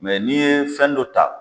Mɛ n'i ye fɛn dɔ ta